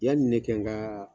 Yani ne kɛ n ka